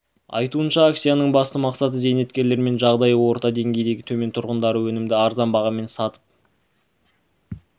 айтуынша акцияның басты мақсаты зейнеткерлер мен жағдайы орта деңгейден төмен тұрғындарға өнімді арзан бағамен сатып